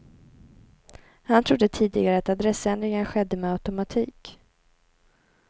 Han trodde tidigare att adressändringen skedde med automatik.